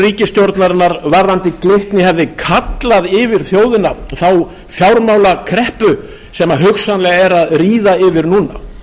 ríkisstjórnarinnar varðandi glitni hefði kallað yfir þjóðina þá fjármálakreppu sem hugsanlega er að ríða yfir núna